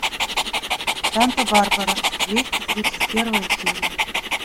санта барбара двести тридцать первая серия